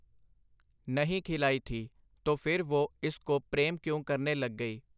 ਨਹੀਂ ਖਿਲਾਈ ਥੀ, ਤੋ ਫਿਰ ਵੁਹ ਇਸ ਕੋ ਪ੍ਰੇਮ ਕਿਉਂ ਕਰਨੇ ਲਗ ਗਈ ?